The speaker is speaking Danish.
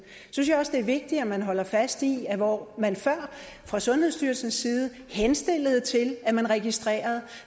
synes jeg også det er vigtigt at man holder fast i at hvor man før fra sundhedsstyrelsens side henstillede til at man registrerede